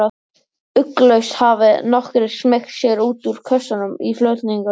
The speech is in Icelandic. Ugglaust hafi nokkrir smeygt sér út úr kössunum í flutningunum.